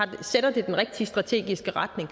det sætter den rigtige strategiske retning